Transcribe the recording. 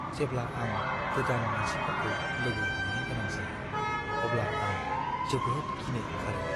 जेब्ला आं गोदान मानसिफोरखौ लोगो हमनो गोनां जायो, अब्ला आं जोबोद गिनो ओंखारो।